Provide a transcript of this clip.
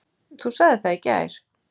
Þú sagðir það í gær.